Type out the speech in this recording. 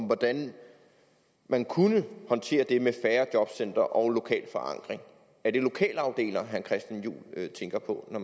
hvordan man kunne håndtere det med færre jobcentre og lokal forankring er det lokalafdelinger herre christian juhl tænker på når